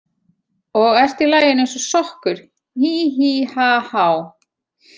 Og ert í laginu eins og sokkur, hí, hí, ha, há.